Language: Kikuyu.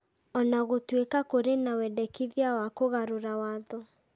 O na gũtuĩka kũrĩ na wendekithia wa kũgarũra watho.